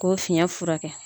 Ko fiyɛn fura kɛ.